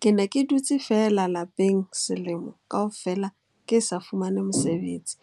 Ke ne ke dutse feela lapeng selemo kaofela ke sa fumane mosebetsi.